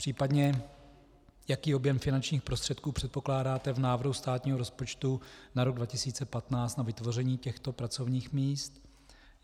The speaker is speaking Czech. Případně jaký objem finančních prostředků předpokládáte v návrhu státního rozpočtu na rok 2015 na vytvoření těchto pracovních míst?